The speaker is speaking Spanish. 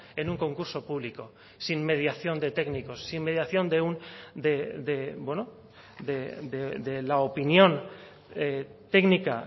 en un concurso público sin mediación de técnicos sin mediación de la opinión técnica